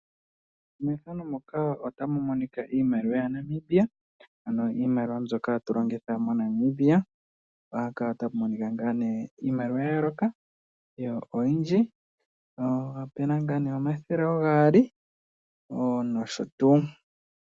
Mpaka ota Pu monika iimaliwa mboka yili ongaa oonzo dhomoshilongo shetu. Iimaliwa ohayi longithwa iinima oyindji. Iimaliwa Mo ngaashingeyi oyili ngaa opumbwe dha kehe esiku oshoka kehe shimwe ohashi longithwa oshimaliwa ngaashi okulanda iikulya, oku futa omeya, okufuta omalusheno nosho tuu.